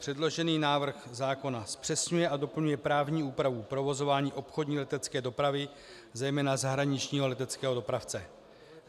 Předložený návrh zákona zpřesňuje a doplňuje právní úpravu provozování obchodní letecké dopravy, zejména zahraničního leteckého dopravce.